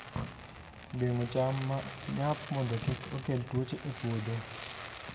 Geng'o cham ma nyap mondo kik okel tuoche e puodho